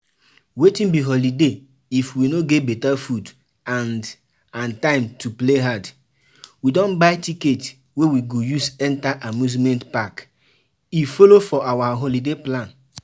We don buy ticket wey we go use enter amusement park, e follow for our holiday plan.